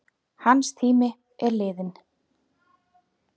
Hans tími er liðinn.